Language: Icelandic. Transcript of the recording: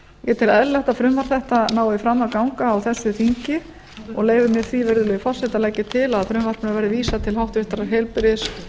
ég tel eðlilegt að frumvarp þetta nái fram að ganga á þessu þingi og leyfi mér því virðulegi forseti að leggja til að frumvarpinu verði vísað til háttvirtrar heilbrigðis